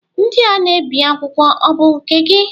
Ndị a na-ebi akwụkwọ ọ bụ nke gị?